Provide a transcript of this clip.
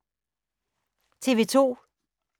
TV 2